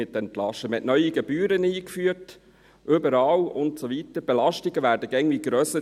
Man hat überall neue Gebühren eingeführt, und die Belastungen werden immer grösser.